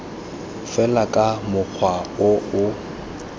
fela ka mokgwa o o